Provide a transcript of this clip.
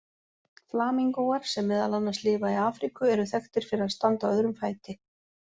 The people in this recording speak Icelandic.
Flamingóar, sem meðal annars lifa í Afríku, eru þekktir fyrir að standa á öðrum fæti.